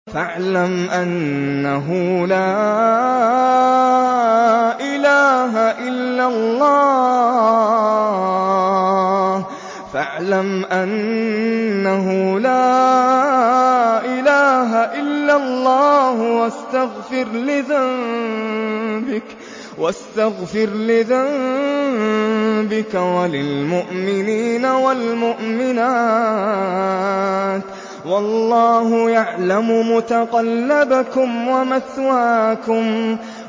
فَاعْلَمْ أَنَّهُ لَا إِلَٰهَ إِلَّا اللَّهُ وَاسْتَغْفِرْ لِذَنبِكَ وَلِلْمُؤْمِنِينَ وَالْمُؤْمِنَاتِ ۗ وَاللَّهُ يَعْلَمُ مُتَقَلَّبَكُمْ وَمَثْوَاكُمْ